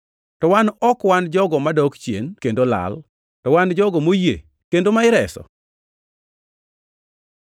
To wan ok wan jogo madok chien kendo lal, to wan jogo moyie kendo ma ireso.